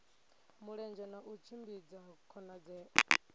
mulenzhe na u tshimbidza khonadzeo